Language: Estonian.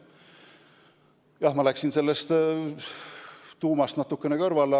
Jah, ma läksin teemast natukene kõrvale.